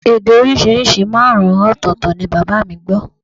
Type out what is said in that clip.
Èdè oríṣiríṣi márùn-ún ọ̀tọ̀ọ̀tọ̀ ni bàbá mi gbọ́